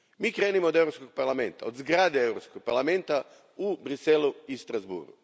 Krenimo od Europskog parlamenta, od zgrade Europskog parlamenta u Bruxellesu i Strasbourgu.